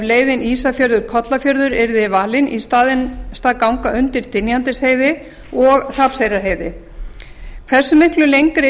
leiðin ísafjörður kollafjörður yrði valinn í stað ganga undir dynjandisheiði og hrafnseyrarheiði hversu miklu lengri